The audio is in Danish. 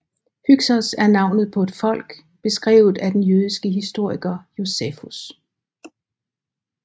Hyksos er navnet på et folk beskrevet af den jødiske historiker Josefus